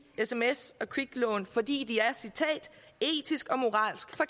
sms og kviklån fordi de er etisk og moralsk